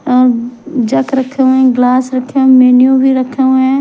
अ जक जग रखे हुए ग्लास रखे मेनू भी रखा हुआ है।